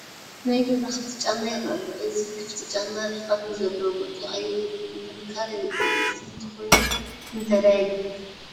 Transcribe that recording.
ናይ ገዛ ክፍቲ ጫማ ይርአ ኣሎ፡፡ እዚ ክፍቲ ጫማ ርሕቐት ንዘለዎ ጉዕዞ ኣየገልግልን፡፡ ጥንካረ የብሉን፡፡ እዚ እንተኾይኑ ንምንታይ ድኣ የግልግል?